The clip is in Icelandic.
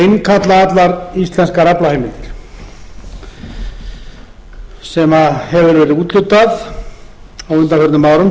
innkalla allar íslenskar aflaheimildir sem hefur verið úthlutað á undanförnum árum